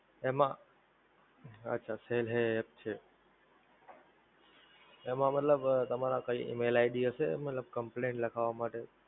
એમાં અચ્છા Cell Hey app છે, એમાં મતલબ તમારા કઈ EmailId હસે મતલબ Complaint લખાવા માટે?